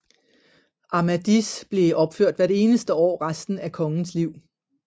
Amadis blev opført hvert eneste år resten af kongens liv